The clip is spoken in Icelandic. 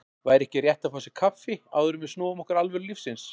Væri ekki rétt að fá sér kaffi, áður en við snúum okkur að alvöru lífsins.